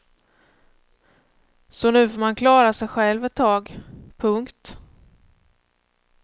Så nu får man klara sej själv ett tag. punkt